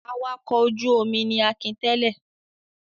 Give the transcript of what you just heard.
Awakọ̀ ojú-omi ni Akin tẹ̀lé.